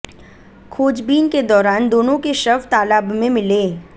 खोजबीन के दौरान दोनों के शव तालाब में मिले